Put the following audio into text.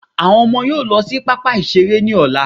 Àwọn ọmọ yóò lọ sí pápá ìṣeré ní ọ̀la